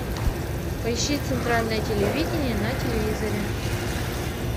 поищи центральное телевидение на телевизоре